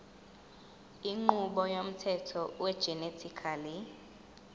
inqubo yomthetho wegenetically